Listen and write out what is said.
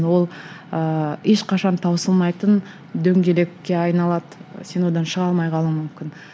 ол ыыы ешқашан таусылмайтын дөңгелекке айналады сен одан шыға алмай қалуың мүмкін